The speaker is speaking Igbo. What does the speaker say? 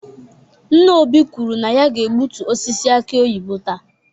Nna Obi kwuru na ya ga-egbutu osisi aki oyibo taa.